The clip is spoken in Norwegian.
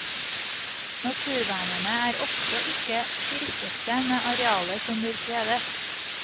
Naturvernerne er ofte ikke tilfredse med arealet som blir fredet.